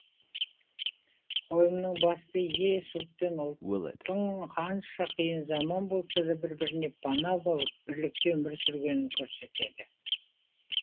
қойылымның басты идеясы ұлт пен ұлттың қанша қиын заман болса да бір біріне пана болып бірлікте өмір сүргенін көрсетеді